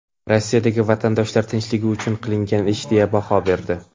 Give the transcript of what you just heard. Rossiyadagi vatandoshlar tinchligi uchun qilingan ish deya baho berdi.